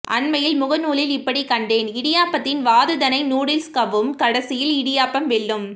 அண்மையில் முக நூலில் இப்படிக் கண்டேன் இடியாப்பத்தின் வாதுதனை நூடில்ஸ் கவ்வும் கடைசியில் இடியாப்பம் வெல்லும்